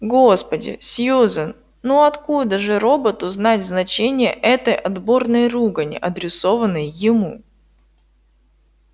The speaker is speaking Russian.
господи сьюзен ну откуда же роботу знать значение этой отборной ругани адресованной ему